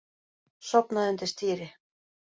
Sofnaði undir stýri